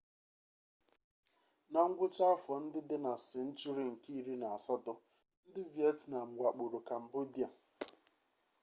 na ngwụcha afọ ndị dị na senchuri nke iri na asatọ ndị vietnam wakpokwara kambodia